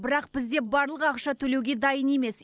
бірақ бізде барлығы ақша төлеуге дайын емес